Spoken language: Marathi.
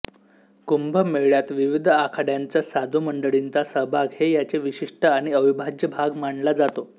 कुंभमेळ्यात विविध आखाड्यांच्या साधू मंडळींचा सहभाग हे याचे वैशिष्ट्य आणि अविभाज्य भाग मानला जातो